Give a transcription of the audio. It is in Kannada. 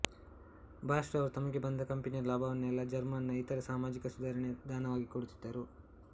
ಬಾಷ್ ರವರು ತಮಗೆ ಬಂದ ಕಂಪನಿಯ ಲಾಭವನ್ನೆಲ್ಲಾ ಜರ್ಮನ್ ನ ಇತರೆ ಸಾಮಾಜಿಕ ಸುಧಾರಣೆಗೆ ದಾನವಾಗಿ ಕೊಡುತ್ತಿದ್ದರು